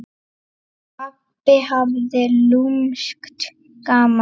Pabbi hafði lúmskt gaman af.